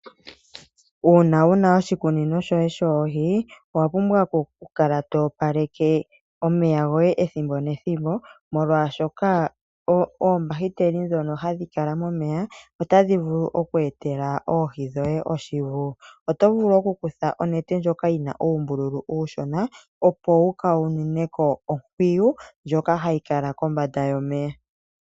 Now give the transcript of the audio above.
Uuna wuna oshikunino shoye shoohi , owapumbwa okukala toopaleke omeya goye ethimbo nethimbo molwaashoka oombahiteli ndhono hadhi kala momeya otadhi vulu okweetela oohi dhoye oshivu. Oto vulu okukutha onete ndjoka yina uumbululu uushona, opo wukaununeko onkwiyu ndjoka hayi kala kombanda yomeya.